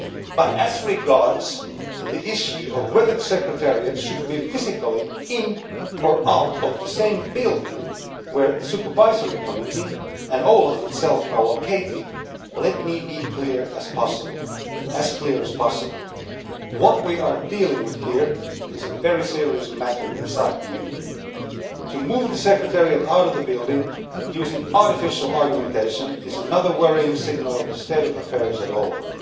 But as regards the issue of whether the Secretariat should be physically in or out of the same building where the Supervisory Committee and OLAF itself are located, let me be as clear as possible what we are dealing with here is a very serious matter inside the Union. To move the Secretariat out of the building, using artificial argumentation, is another worrying signal of the state of affairs at OLAF.